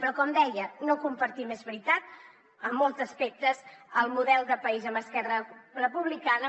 però com deia no compartim és veritat en molts aspectes el model de país amb esquerra republicana